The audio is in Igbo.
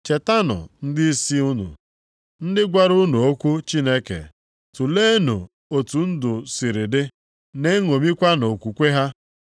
Chetanụ ndịisi unu, ndị gwara unu okwu Chineke. Tuleenụ otu ndụ siri dị, na-eṅomikwanụ okwukwe ha.